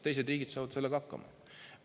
Teised riigid saavad sellega hakkama.